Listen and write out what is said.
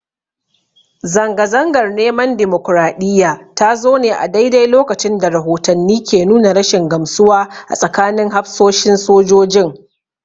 Zanga-zangar neman dimokraɗiyya ta zo ne a daidai lokacin da rahotanni ke nuna rashin gamsuwa a tsakanin hafsoshin sojojin.